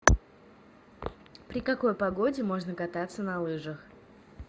при какой погоде можно кататься на лыжах